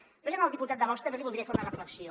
després al diputat de vox també li voldria fer una reflexió